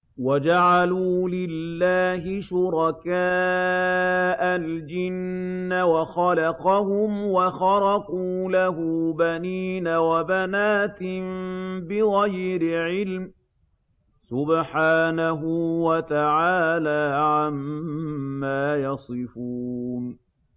وَجَعَلُوا لِلَّهِ شُرَكَاءَ الْجِنَّ وَخَلَقَهُمْ ۖ وَخَرَقُوا لَهُ بَنِينَ وَبَنَاتٍ بِغَيْرِ عِلْمٍ ۚ سُبْحَانَهُ وَتَعَالَىٰ عَمَّا يَصِفُونَ